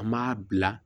An m'a bila